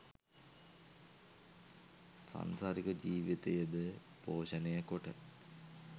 සංසරික ජීවිතය ද පෝෂණය කොට